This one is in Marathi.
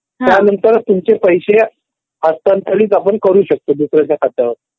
त्यानंतर तुमचे पैसे हस्तांतरित आपण करू शकतो. दुसऱ्याच्या खात्यावर.